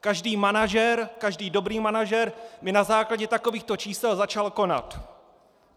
Každý manažer, každý dobrý manažer by na základě takovýchto čísel začal konat.